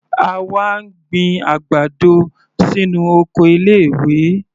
Àwa ń gbin àgbàdo sínú oko ilé ìwé.